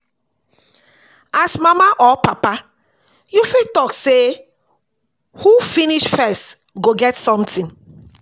As mama or papa you fit talk sey who finish first go get something